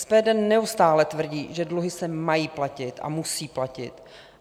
SPD neustále tvrdí, že dluhy se mají platit a musí platit.